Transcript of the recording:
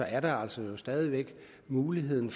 er der jo altså stadig væk muligheden